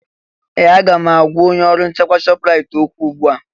Ee! Aga m agwa onye ọrụ nchekwa Shọpraịt okwu ugbu a.